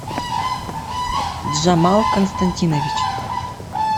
джамал константинович